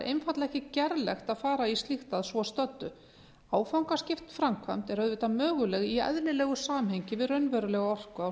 einfaldlega ekki gerlegt að fara í slíkt að svo stöddu áfangaskipt framkvæmd er auðvitað möguleg í eðlilegu samhengi við raunverulega orku á